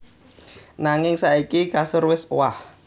Nanging saiki kasur wis owah